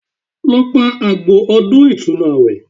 Lọ pa àgbò ọdún ìtúnu àwẹ̀